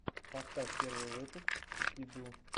поставь первый выпуск кикиду